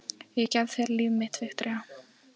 Ég gef þér líf mitt, Viktoría.